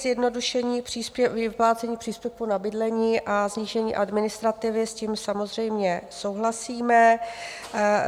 Zjednodušení vyplácení příspěvku na bydlení a snížení administrativy, s tím samozřejmě souhlasíme.